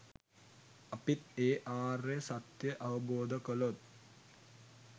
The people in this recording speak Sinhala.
අපිත් ඒ ආර්ය සත්‍යය අවබෝධ කළොත්